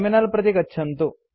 terminal प्रति गच्छन्तु